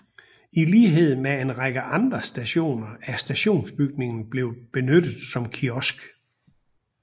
I lighed med en række andre stationer er stationsbygningen blevet benyttet som kiosk